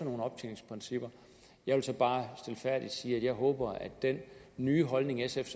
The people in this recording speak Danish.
nogle optjeningsprincipper jeg vil så bare stilfærdigt sige at jeg håber at den nye holdning sf